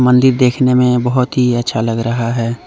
मंदिर देखने में बहुत ही अच्छा लगा रहा है।